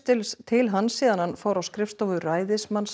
til hans síðan hann fór á skrifstofu ræðismanns